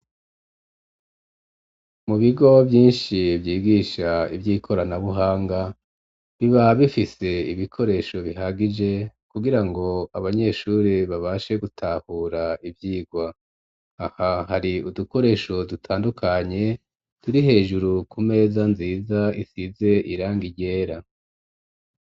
Mu bigo vyinshi vyigisha ivy'ikoranabuhanga, biba bifise ibikoresho bihagije, kugira ngo abanyeshure babashe gutahura ivyigwa; aha hari udukoresho dutandukanye, turi hejuru ku meza nziza isize irangi ryera.